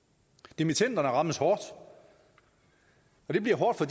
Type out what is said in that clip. dimittenderne rammes hårdt det bliver hårdt for